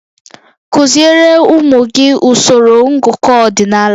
Kụziere ụmụ gị usoro ngụkọ ọdịnala